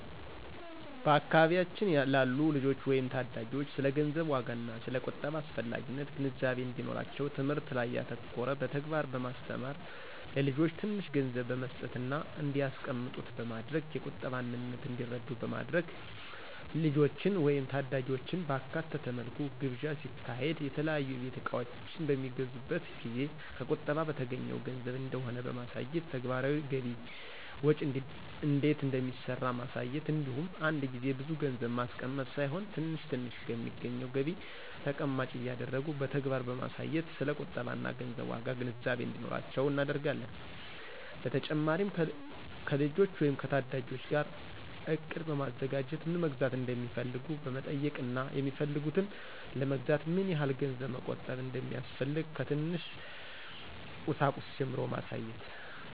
በአካባቢያችን ላሉ ልጆች ወይም ታዳጊዎች ስለ ገንዘብ ዋጋና ስለ ቁጠባ አስፈላጊነት ግንዛቤ እንዲኖራቸው ትምህርት ላይ ያተኮረ በተግባር በማስተማር(ለልጆች ትንሽ ገንዘብ በመስጠትና እንዲያስቀምጡት በማድረግ የቁጠባን ምንነት እንዲረዱ በማድረግ)፣ ልጆችን ወይም ታዳጊዎችን ባካተተ መልኩ ግብዣ ሲካሄድ፣ የተለያዩ የቤት እቃዎች በሚገዙበት ጊዜ ከቁጠባ በተገኘው ገንዘብ እንደሆነ በማሳየት፣ ተግባራዊ ገቢ ወጪ እንዴት እንደሚሰራ ማሳየት እንዲሁም አንድ ጊዜ ብዙ ገንዘብ ማስቀመጥ ሳይሆን ትንሽ ትንሽ ከሚገኘው ገቢ ተቀማጭ እያደረጉ በተግባር በማሳየት ስለ ቁጠባና ገንዘብ ዋጋ ግንዛቤ እንዲኖራቸው እናደርጋለን። በተጨማሪም ከልጆች ወይም ከታዳጊዎች ጋር እቅድ በማዘጋጀት ምን መግዛት እንደሚፈልጉ በመጠየቅና የፈለጉትን ለመግዛት ምን ያህል ገንዘብ መቆጠብ እንደሚያስፈልግ ከትንሽ ቁሳቁስ ጀምሮ ማሳየት።